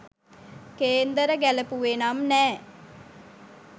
කේන්දර ගැලපුවෙ නම් නෑ